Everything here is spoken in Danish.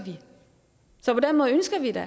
det